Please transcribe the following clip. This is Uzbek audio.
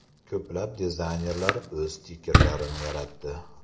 Ko‘plab dizaynerlar o‘z stikerlarini yaratdi.